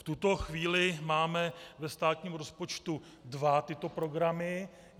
V tuto chvíli máme ve státním rozpočtu dva tyto programy.